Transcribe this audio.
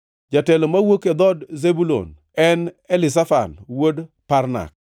jatelo mowuok e dhood Zebulun, en Elizafan wuod Parnak;